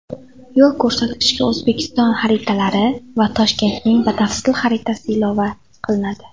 Yo‘lko‘rsatkichga O‘zbekiston xaritalari va Toshkentning batafsil xaritasi ilova qilinadi.